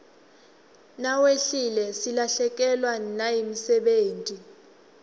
nawehlile silahlekewa nayimdebeti